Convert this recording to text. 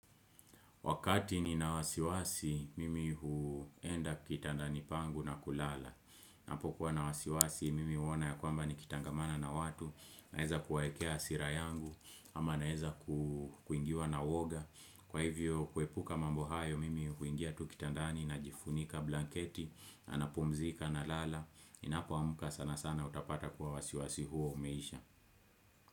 Wakati ni na wasiwasi, mimi huenda kitandani pangu na kulala. Ninapo kuwa na wasiwasi, mimi huona ya kwamba ni kitangamana na watu, naeza kuwaekea hasira yangu, ama naeza kuingiwa na woga. Kwa hivyo, kuepuka mambo hayo, mimi huingia tu kitandani na jifunika blanketi, na napumzika na lala. Ninapo amka sana sana utapata kuwa wasiwasi huo umeisha.